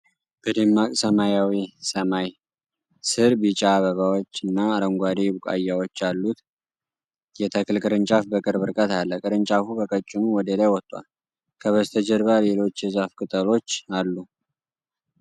በደማቅ ሰማያዊ ሰማይ ስር፣ ቢጫ አበባዎች እና አረንጓዴ ቡቃያዎች ያሉት የተክል ቅርንጫፍ በቅርብ ርቀት አለ። ቅርንጫፉ በቀጭኑ ወደ ላይ ወጥቷል፤ ከበስተጀርባ ሌሎች የዛፍ ቅጠሎች አሉ።